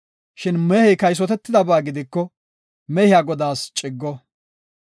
Shin mehey kaysotetidaba gidiko, mehiya godaas ciggo.